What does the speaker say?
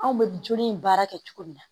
Anw bɛ joli in baara kɛ cogo min na